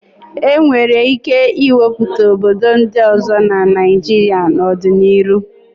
E nwere ike ịwepụta obodo ndị ọzọ na Naịjịrịa n'ọdịnihu.